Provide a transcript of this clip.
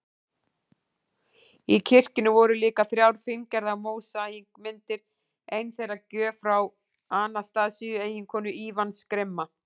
Í kirkjunni voru líka þrjár fíngerðar mósaíkmyndir, ein þeirra gjöf frá Anastasíu, eiginkonu Ívans grimma